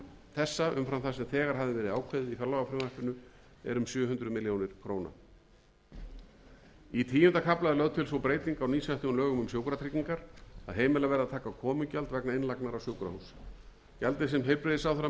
þessa umfram það sem þegar hafði verið ákveðið í fjárlagafrumvarpinu er um sjö hundruð milljóna króna í tíunda kafla er lögð til sú breyting á nýsettum lögum um sjúkratryggingar að heimilað verði að taka komugjald vegna innlagnar á sjúkrahús gjaldið sem heilbrigðisráðherra mun ákveða